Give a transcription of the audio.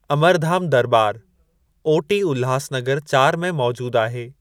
अमरधाम दरॿार O T Ulhasnagar चार में मौजूद आहे।